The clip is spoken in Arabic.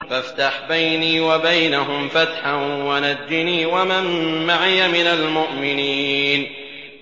فَافْتَحْ بَيْنِي وَبَيْنَهُمْ فَتْحًا وَنَجِّنِي وَمَن مَّعِيَ مِنَ الْمُؤْمِنِينَ